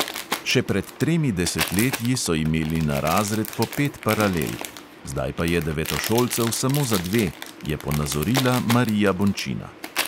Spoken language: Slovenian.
Še pred tremi desetletji so imeli na razred po pet paralelk, zdaj pa je devetošolcev samo za dve, je ponazorila marija bončina.